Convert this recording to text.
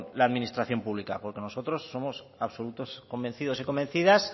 la administración pública porque nosotros somos absolutos convencidos y convencidas